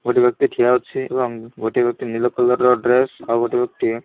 ଗୋଟେ ବ୍ୟକ୍ତି ଠିଆ ହୋଉଛି ଏବଂ ଗୋଟେ ବ୍ୟକ୍ତି ନିଳ କଲର ର ଡ୍ରେସ ଆଉ ଗୋଟେ ବ୍ୟକ୍ତି --